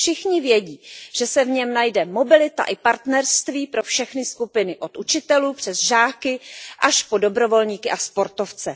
Všichni vědí, že se v něm najde mobilita i partnerství pro všechny skupiny, od učitelů přes žáky až po dobrovolníky a sportovce.